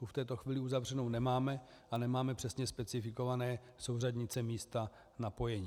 Tu v této chvíli uzavřenou nemáme a nemáme přesně specifikované souřadnice místa napojení.